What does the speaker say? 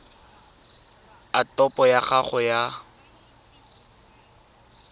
a topo ya gago ya